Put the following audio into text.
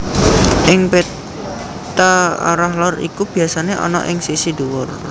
Ing péta arah lor iku biasane ana ing sisi dhuwur